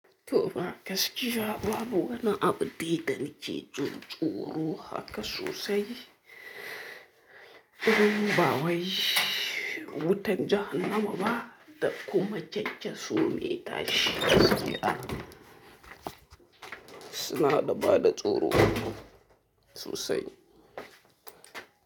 To fa gakiya babu wani abu, didan ke jin tsoro haka sosai. In ba wai. Wutan jahannama ba da kuma kyankyaso mai tashi su na da bada tsoro sosai.